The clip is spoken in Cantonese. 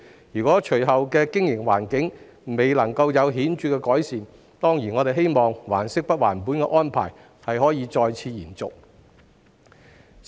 如果隨後的經營環境未有顯著改善，我們當然希望"還息不還本"的安排可再次延續。